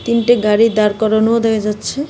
তিনটে গাড়ি দাঁড় করানোও দেখা যাচ্ছে .